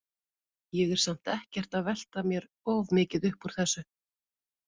Ég er samt ekkert að velta mér of mikið upp úr þessu.